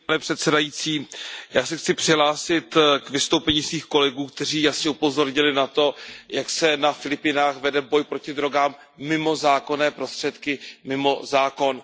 Pane předsedající, já se chci přihlásit k vystoupením svých kolegů, kteří jasně upozornili na to, jak se na Filipínách vede boj proti drogám mimo zákonné prostředky, mimo zákon.